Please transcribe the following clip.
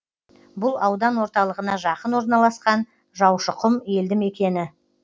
бұл аудан орталығына жақын орналасқан жаушықұм елді мекені